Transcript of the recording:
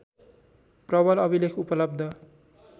प्रवल अभिलेख उपलब्ध